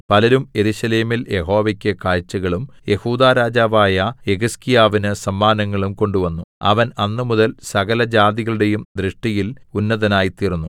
പലരും യെരൂശലേമിൽ യഹോവയ്ക്ക് കാഴ്ചകളും യെഹൂദാ രാജാവായ യെഹിസ്കീയാവിന് സമ്മാനങ്ങളും കൊണ്ടുവന്നു അവൻ അന്നുമുതൽ സകലജാതികളുടെയും ദൃഷ്ടിയിൽ ഉന്നതനായിത്തീർന്നു